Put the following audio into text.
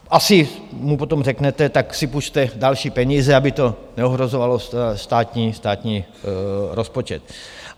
Asi mu potom řeknete, tak si půjčte další peníze, aby to neohrožovalo státní rozpočet.